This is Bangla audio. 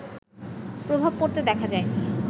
প্রভাব পড়তে দেখা যায়নি